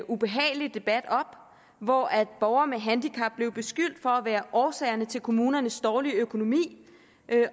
ubehagelig debat op hvor borgere med handicap blev beskyldt for at være årsag til kommunernes dårlige økonomi